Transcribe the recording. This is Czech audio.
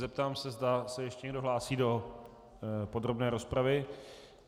Zeptám se, zda se ještě někdo hlásí do podrobné rozpravy.